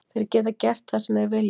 Þeir geta gert það sem þeir vilja.